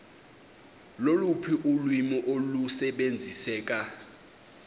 loluphi ulwimi olusebenziseka